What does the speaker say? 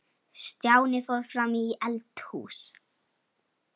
Stjáni fór fram í eldhús.